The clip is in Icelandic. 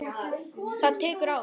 Það tekur ár.